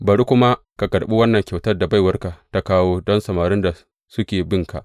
Bari kuma ka karɓi wannan kyautar da baiwarka ta kawo don samarin da suke binka.